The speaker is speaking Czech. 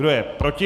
Kdo je proti?